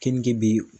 Keninge bɛ yen